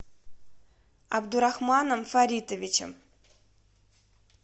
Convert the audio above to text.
абдурахманом фаритовичем